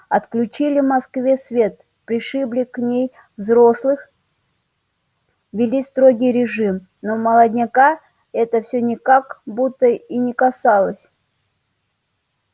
отключили москве свет пришибли в ней взрослых ввели строгий режим но молодняка это все как будто и не касалось